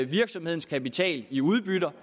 virksomhedens kapital i udbytter